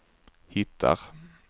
hittar